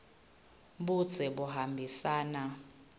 budze buhambisana